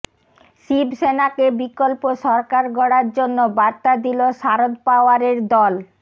শিবসেনাকে বিকল্প সরকার গড়ার জন্য বার্তা দিল শারদ পাওয়ারের দল